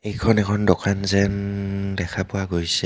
এইখন এখন দোকান যেন দেখা পোৱা গৈছে.